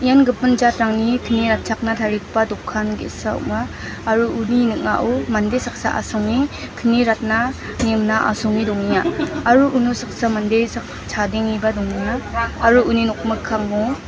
ian gipin jatrangni kni ratchakna tarigipa dokan ge·sa ong·a aro uni ning·ao mande saksa asonge kni ratna ne mingna asonge dongenga aro uno saksa mande sak-chadengeba dongenga aro uni nokmikkango--